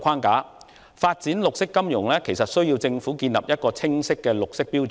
為發展綠色金融，政府有需要訂定清晰的綠色標準。